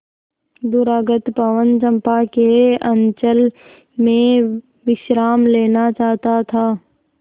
दूरागत पवन चंपा के अंचल में विश्राम लेना चाहता था